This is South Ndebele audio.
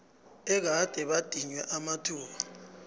egade badinywe amathuba